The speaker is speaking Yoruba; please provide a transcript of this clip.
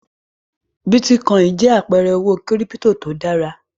Bí Tilo jẹ́ àpẹẹrẹ owó kírípító tó dára.